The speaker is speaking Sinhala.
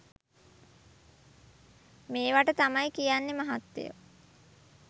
මේවට තමයි කියන්නෙ මහත්තයො